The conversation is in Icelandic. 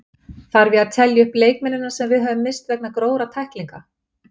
Þarf ég að telja upp leikmennina sem við höfum misst vegna grófra tæklinga?